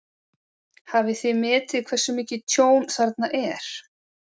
Hafið þið metið hversu mikið tjón þarna er?